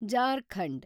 Jharkhand